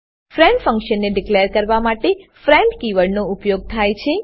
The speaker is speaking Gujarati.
ફ્રેન્ડ ફંક્શનને ડીકલેર કરવા માટે ફ્રેન્ડ કીવર્ડનો ઉપયોગ થાય છે